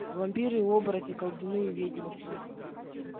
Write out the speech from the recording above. вампиры и оборотни колдуны и ведьмаки